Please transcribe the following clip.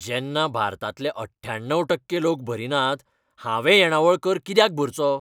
जेन्ना भारतांतले अठ्ठ्याणव टक्के लोक भरिनात, हांवें येणावळ कर कित्याक भरचो?